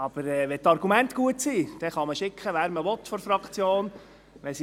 Aber wenn die Argumente gut sind, dann kann man von der Fraktion schicken, wen man will.